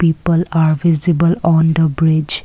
people are visible on the bridge.